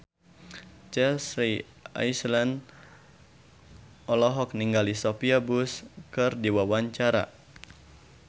Chelsea Islan olohok ningali Sophia Bush keur diwawancara